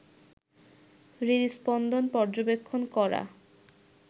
হৃদস্পন্দন পর্যবেক্ষণ করা